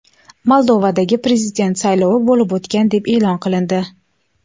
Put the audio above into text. Moldovadagi prezident saylovi bo‘lib o‘tgan deb e’lon qilindi.